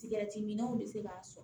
Sigɛrɛtiminnu bɛ se k'a sɔn